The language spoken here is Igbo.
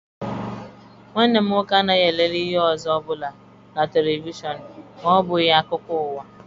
Nwanne m nwoke anaghị elele ihe ọzọ ọbụla na televishọn ma ọbụghị akụkọ ụwa.